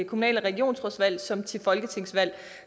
kommunal og regionsrådsvalg som til folketingsvalg